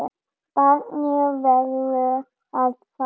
Barnið verður að fara.